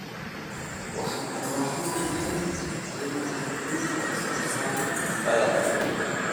Waxaan u baahanahay inaan kordhino wax soo saarka badarka.